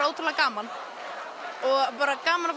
ótrúlega gaman og bara gaman